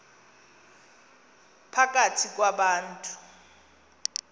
phakathi kwa bantu